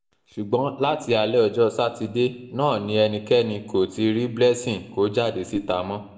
ṣùgbọ́n láti alẹ́ ọjọ́ sátidé náà ni ẹnikẹ́ni kò ti rí blessing kó jáde síta mọ́